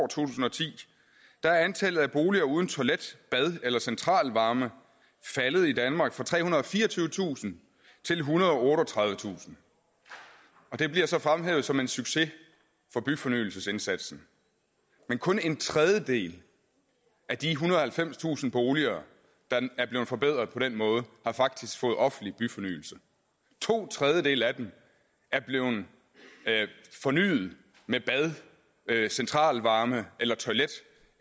tusind og ti er antallet af boliger uden toilet bad eller centralvarme faldet i danmark fra trehundrede og fireogtyvetusind til ethundrede og otteogtredivetusind det bliver så fremhævet som en succes for byfornyelsesindsatsen men kun en tredjedel af de ethundrede og halvfemstusind boliger der er blevet forbedret på den måde har faktisk fået offentlig byfornyelse to tredjedele af dem er blevet fornyet med bad centralvarme eller toilet